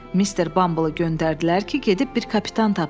Mister Bumble-ı göndərdilər ki, gedib bir kapitan tapsın.